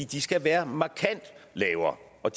de skal være markant lavere og